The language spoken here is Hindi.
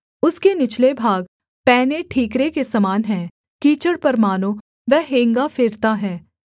उसके निचले भाग पैने ठीकरे के समान हैं कीचड़ पर मानो वह हेंगा फेरता है